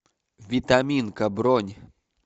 витаминка бронь